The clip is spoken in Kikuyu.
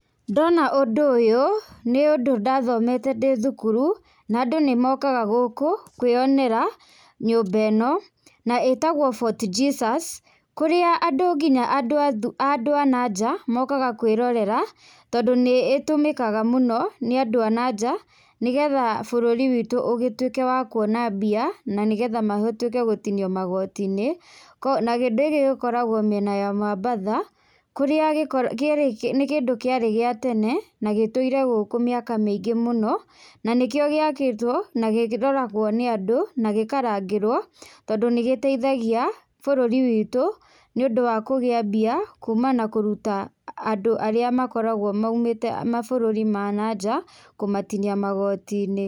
Ndona ũndũ ũyũ, nĩ ũndũ ndathomete ndĩ thukuru na andũ nĩ mokaga gũkũ kwĩyonera nyũmba ĩno na ĩtagwo Fort Jesus kũrĩa andũ nginya andũ a nanja mokaga kũĩrorera tondũ nĩ ĩtũmĩkaga mũno nĩ andũ a nanja nĩgetha bũrũri witũ ũgĩtuĩke wa kuona mbia na nĩgetha mahotuĩke gũtinio magoti-inĩ. Na kĩndũ gĩkĩ gĩkoragwo mĩena ya mambatha kũrĩa nĩ kĩndũ kĩarĩ gĩa tene na gĩtũire gũkũ mĩaka mĩingĩ mũno na nĩkĩo gĩakĩtwo na kĩroragwo nĩ andũ na gĩkarangĩrwo tondũ nĩ gĩteithagia bũrũri witũ nĩũndũ wa kũgĩa mbia kuuma na kũruta andũ arĩa makoragwo maumĩte mabũrũri ma nanja, kũmatinia magoti-inĩ.